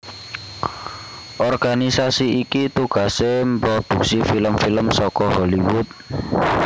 Organisasi iki tugasé mproduksi film film saka Hollywood